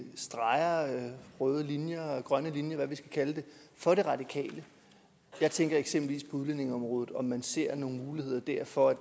røde linjer grønne linjer eller hvad vi skal kalde det for de radikale jeg tænker eksempelvis på udlændingeområdet og om man ser nogle muligheder der for